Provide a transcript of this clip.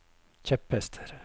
kjepphester